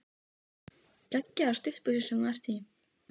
Geggjaðar stuttbuxur sem þú ert í!